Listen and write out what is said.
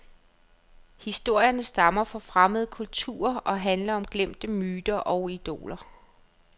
Historierne stammer fra fremmede kulturer og handler om glemte myter og idoler.